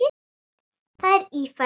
Það er Ífæran.